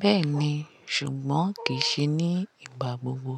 Bẹ́ẹ̀ni, ṣùgbọ́n kì í ṣe ní ìgbà gbogbo.